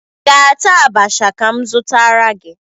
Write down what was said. Ị ga-ata abacha ka m zụtara gị?